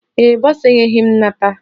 Ee e, bọsa enyeghị m nnata